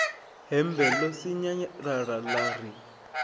hembe ḽo sinyalala ḽa ri